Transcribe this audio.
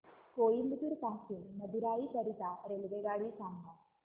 कोइंबतूर पासून मदुराई करीता रेल्वेगाडी सांगा